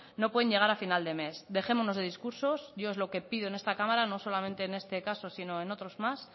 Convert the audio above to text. no pueden llegar a final de mes dejémonos de discursos yo lo que pido en esta cámara no solamente en este caso sino en otros más